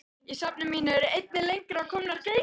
Í safni mínu eru einnig lengra að komnar greinar.